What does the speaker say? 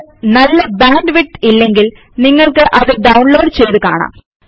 നിങ്ങൾക്ക് നല്ല bandwidth ഇല്ലെങ്കിൽ നിങ്ങൾക്ക് അത് ഡൌണ്ലോഡ് ചെയ്ത് കാണാം